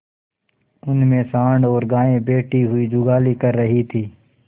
उनमें सॉँड़ और गायें बैठी हुई जुगाली कर रही थी